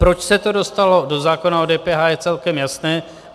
Proč se to dostalo do zákona o DPH, je celkem jasné.